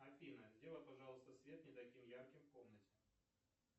афина сделай пожалуйста свет не таким ярким в комнате